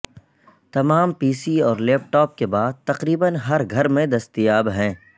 تمام P C اور laptop کے بعد تقریبا ہر گھر میں دستیاب ہیں